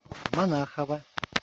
монахова